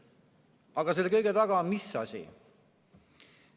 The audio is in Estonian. Aga mis on selle kõige taga?